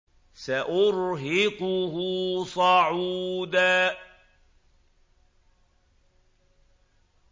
سَأُرْهِقُهُ صَعُودًا